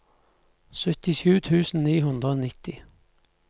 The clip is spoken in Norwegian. syttisju tusen ni hundre og nitti